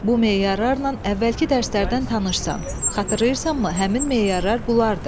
Bu meyarlarla əvvəlki dərslərdən tanışsan, xatırlayırsanmı, həmin meyarlar bunlardır?